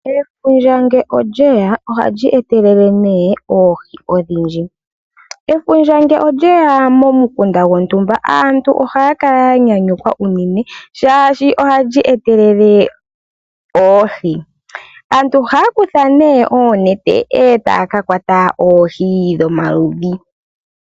Efundja oha li etelele oohi odhindji. Ngele olye ya momukunda gwontumba aantu oha ya kala yanyanyukwa oshoka oha li etelele oohi. Aantu oha ya kutha oonete eta ya kakwata oohi dhomaludhi.